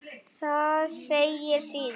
Þar segir síðan